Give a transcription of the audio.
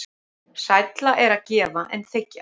Sælla er að gefa en þiggja.